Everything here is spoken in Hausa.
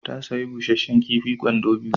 Ta sayi busasshen kifi kwando biyu.